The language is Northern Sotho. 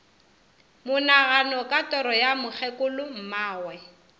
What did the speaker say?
monagano ka toro ya mokgekolommagwe